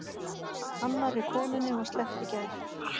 Annarri konunni var sleppt í gær